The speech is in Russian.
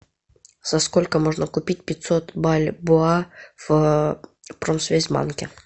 за сколько можно купить пятьсот бальбоа в промсвязьбанке